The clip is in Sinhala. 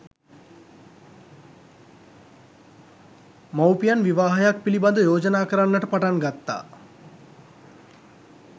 මවුපියන් විවාහයක් පිළිබඳ යෝජනා කරන්නට පටන් ගත්තා